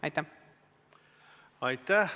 Aitäh!